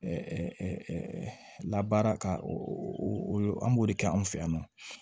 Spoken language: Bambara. labaara ka o an b'o de kɛ anw fɛ yan nɔ